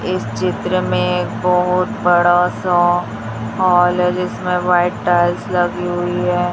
इस चित्र में एक बहुत बड़ा सा हॉल है जिसमें व्हाइट टाइल्स लगी हुई हैं।